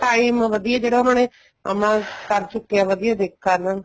time ਵਧੀਆ ਜਿਹੜਾ ਉਹਨਾ ਨੇ ਆਪਣਾ ਕਰ ਸ਼ੁਕ੍ਕੇ ਆ ਵਧੀਆ ਕਰ ਲੈਣ